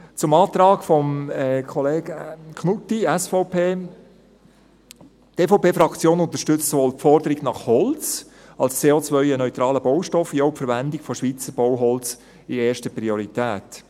Zum Antrag von Kollege Knutti, SVP: Die EVP-Fraktion unterstützt sowohl die Forderung nach Holz als CO-neutralem Baustoff als auch die Verwendung von Schweizer Bauholz in erster Priorität.